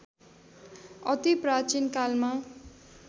अति प्राचीन कालमा